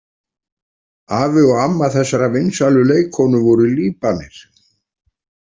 Afi og amma þessarar vinsælu leikkonu voru Líbanir.